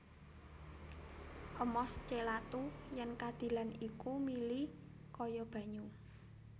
Amos celathu yèn kadilan iku mili kaya banyu